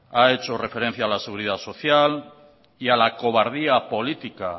ha hecho referencia a la seguridad social y a la cobardía política